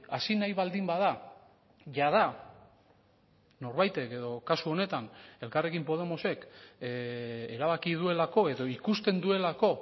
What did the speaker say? hasi nahi baldin bada jada norbaitek edo kasu honetan elkarrekin podemosek erabaki duelako edo ikusten duelako